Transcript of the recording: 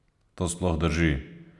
To sploh drži?